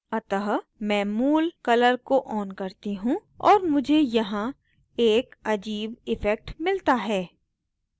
अतः मैं मूल colour को on करती हूँ और मुझे यहाँ एक अजीब इफ़ेक्ट मिलता है